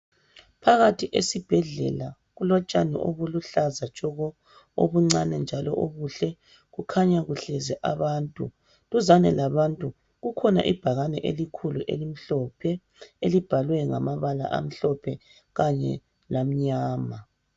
Phakathi esibhedlela kutshani obuluhlaza tshoko obuncani njalo obuhle kukhanya kuhlezi abantu duzane labantu kukhona ibhakani elikhulu elimhlophe elibhalwe ngamabala amhlophe kanye lamnyama